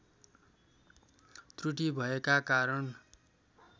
त्रुटि भएका कारण